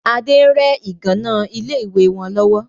Adé ń rẹ ìgànnà ilé ìwé wọn lọ́wọ́